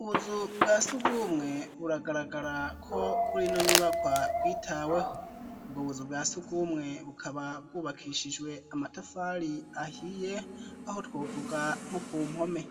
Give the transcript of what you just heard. Ubuzu bwa sugumwe buragaragara ko kuri ino nyubakwa bwitaweho. Ubwo buzu bwa sugumwe bukaba bwubakishijwe amatafari ahiye, aho twovuga nko ku mpome.